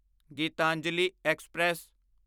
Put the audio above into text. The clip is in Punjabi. ਗੀਤਾਂਜਲੀ ਐਕਸਪ੍ਰੈਸ